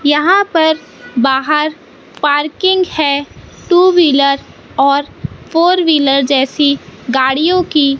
यहां पर बाहर पार्किंग है टू व्हीलर और फोर व्हीलर जैसी गाड़ियों की --